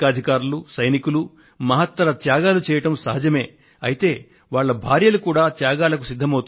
సైనికులు సైనికాధికారులతో పాటు వారి వారి కుటుంబాలు భార్యలు సైతం త్యాగాలు చేస్తున్నారు